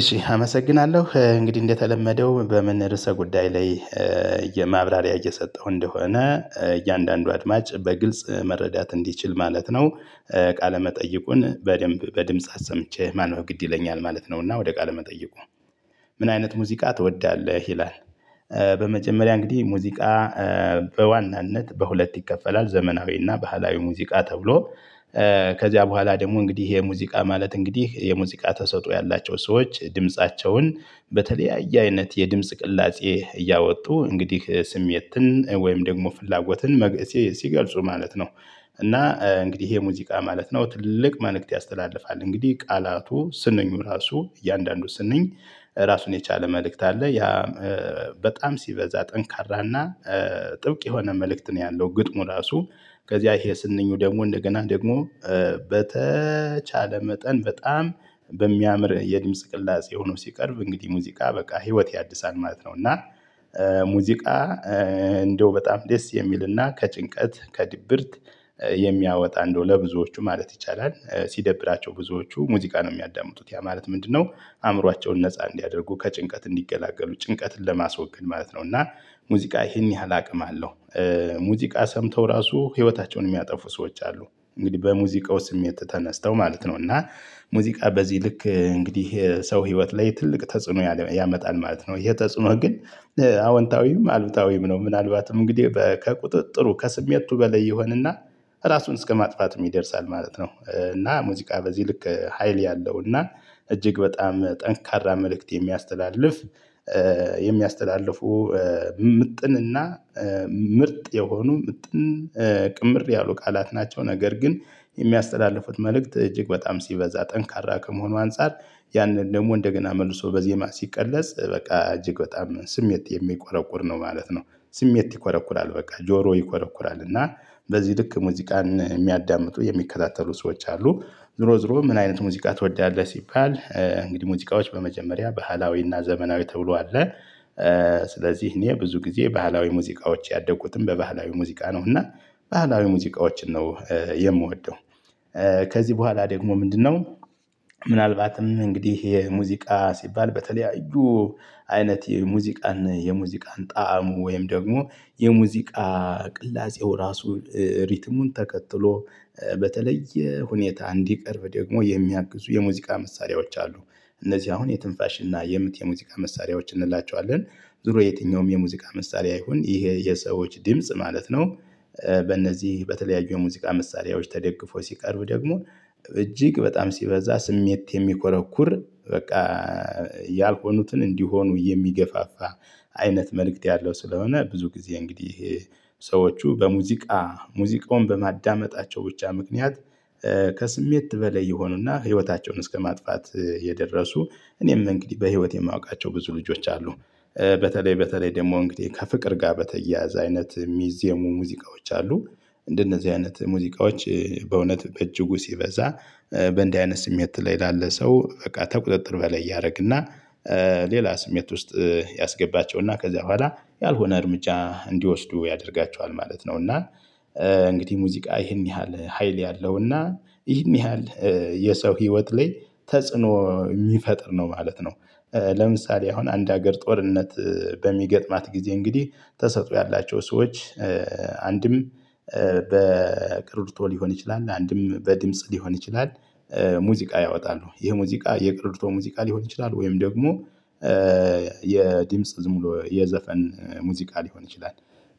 እሺ አመሰግናለሁ እንግዲህ እንደተለመደው በምን ርዕሰ ጉዳይ ላይ የማብራሪያ እየሰጠሁ እንደሆነ እያንዳንዱ አድማጭ በግልጽ መረዳት እንዲችል ማለት ነው። ቃለ መጠይቁን በደንብ በድምጽ አሰምቼ ማንበብ ግድ ይለኛል ማለት ነውና ወደ ቃለ መጠየቁ። ምን አይነት ሙዚቃ ትወዳለህ ይላል? በመጀመሪያ እንግዲህ ሙዚቃ በዋናነት በሁለት ይከፈላል ዘመናዊና ባህላዊ ሙዚቃ ተብሎ። ከዚያ በኋላ ደግሞ እንግዲህ የሙዚቃ ማለት እንግዲህ የሙዚቃ ተሰጥኦ ያላቸው ሰዎች ድምፃቸውን በተለያየ አይነት የድምጽ ቅላጼ እያወጡ እንግዲህ ስሜትን ወይም ደግሞ ፍላጎትን ሲገልጹ ማለት ነው። እና እንግዲህ ይሄ ሙዚቃ ማለት ነው ትልቅ መልእክት ያስተላልፋል እንግዲህ ቃላቱ ስንኙ ራሱ እያንዳንዱ ስንኝ ራሱን የቻለ መልእክት አለ። ያ በጣም ሲበዛ ጠንካራና ጥብቅ የሆነ መልእክት ነው። ያለው ግጥሙ ራሱ ከዚያ ይሄ ስንኙ ደግሞ እንደገና ደግሞ በተቻለ መጠን በጣም በሚያምር የድምጽ ቅላጼ ሆኖ ሲቀርብ እንግዲህ ሙዚቃ በቃ ህይወት ያድሳል ማለት ነው። እና ሙዚቃ እንደው በጣም ደስ የሚልና ከጭንቀት ከድብርት የሚያወጣ እንደው ለብዙዎቹ ማለት ይቻላል። ሲደብራቸው ብዙዎቹ ሙዚቃ ነው የሚያዳምጡት ያ ማለት ምንድነው? አእምሯቸውን ነፃ እንዲያደርጉ ከጭንቀት እንዲገላገሉ ጭንቀትን ለማስወገድ ማለት ነው። እና ሙዚቃ ይሄን ያህል አቅም አለው። ሙዚቃ ሰምተው ራሱ ህይወታቸውን የሚያጠፉ ሰዎች አሉ። እንግዲህ በሙዚቃው ስሜት ተነስተው ማለት ነው እና ሙዚቃ በዚህ ልክ እንግዲህ ሰው ህይወት ላይ ትልቅ ተጽዕኖ ያመጣል ማለት ነው። ይሄ ተጽዕኖ ግን አውንታዊም አሉታዊም ነው ምናልባትም እንግዲህ ከቁጥጥሩ ከስሜቱ በላይ ይሆንና ራሱን እስከማጥፋት ይደርሳል ማለት ነው። እና ሙዚቃ በዚህ ልክ ሀይል ያለው እና እጅግ በጣም ጠንካራ መልእክት የሚያስተላልፍ የሚያስተላልፉ ምጥንና ምርጥ የሆኑ ምጥን ቅምር ያሉ ቃላት ናቸው። ነገር ግን የሚያስተላልፉት መልእክት እጅግ በጣም ሲበዛ ጠንካራ ከመሆኑ አንፃር ያንን ደግሞ እንደገና መልሶ በዜማ ሲቀለጽ በቃ እጅግ በጣም ስሜት የሚቆረቁር ነው ማለት ነው። ስሜት ይኮረኩራል በቃ ጆሮ ይኮረኩራል እና በዚህ ልክ ሙዚቃን የሚያዳምጡ የሚከታተሉ ሰዎች አሉ። ዙሮ ዙሮ ምን አይነት ሙዚቃ ትወዳለህ? ሲባል እንግዲህ ሙዚቃዎች በመጀመሪያ ባህላዊና ዘመናዊ ተብሎ አለ። ስለዚህ እኔ ብዙ ጊዜ ባህላዊ ሙዚቃዎች ያደጉትም በባህላዊ ሙዚቃ ነው እና ባህላዊ ሙዚቃዎችን ነው የምወደው። ከዚህ በኋላ ደግሞ ምንድነው? ምናልባትም እንግዲህ ይሄ ሙዚቃ ሲባል በተለያዩ አይነት የሙዚቃን የሙዚቃን ጣዕሙ ወይም ደግሞ የሙዚቃ ቅላጼው ራሱ ሪትሙን ተከትሎ በተለየ ሁኔታ እንዲቀርብ ደግሞ የሚያግዙ የሙዚቃ መሳሪያዎች አሉ። እነዚህ አሁን የትንፋሽ እና የምት የሙዚቃ መሳሪያዎች እንላቸዋለን። ዙሮ የትኛውም የሙዚቃ መሳሪያ ይሁን ይሄ የሰዎች ድምጽ ማለት ነው። በእነዚህ በተለያዩ የሙዚቃ መሳሪያዎች ተደግፎ ሲቀርብ ደግሞ እጅግ በጣም ሲበዛ ስሜት የሚኮረኩር በቃ ያልሆኑትን እንዲሆኑ የሚገፋፋ አይነት መልእክት ያለው ስለሆነ። ብዙ ጊዜ እንግዲህ ሰዎቹ በሙዚቃ ሙዚቃውን በማዳመጣቸው ብቻ ምክንያት ከስሜት በላይ የሆኑና ህይወታቸውን እስከማጥፋት የደረሱ እኔም እንግዲህ በህይወት የማውቃቸው ብዙ ልጆች አሉ። በተለይ በተለይ ደግሞ እንግዲህ ከፍቅር ጋር በተያያዘ አይነት የሚዜሙ ሙዚቃዎች አሉ። እንደነዚህ አይነት ሙዚቃዎች በእውነት በእጅጉ ሲበዛ በእንዲህ አይነት ስሜት ላይ ላለ ሰው በቃ ከቁጥጥር በላይ ያደረግና። ሌላ ስሜት ውስጥ ያስገባቸው እና ከዚያ በኋላ ያልሆነ እርምጃ እንዲወስዱ ያደርጋቸዋል ማለት ነው። እና እንግዲህ ሙዚቃ ይህን ያህል ሀይል ያለው እና ይህን ያህል የሰው ህይወት ላይ ተጽዕኖ የሚፈጥር ነው ማለት ነው። ለምሳሌ አሁን አንድ ሀገር ጦርነት በሚገጥማት ጊዜ እንግዲህ ተሰጥኦ ያላቸው ሰዎች አንድም በቀረርቶ ሊሆን ይችላል አንድም በድምጽ ሊሆን ይችላል። ሙዚቃ ያወጣሉ ይሄ ሙዚቃ የቀረርቶ ሙዚቃ ሊሆን ይችላል ወይም ደግሞ የድምጽ ዝም ብሎ የዘፈን ሙዚቃ ሊሆን ይችላል።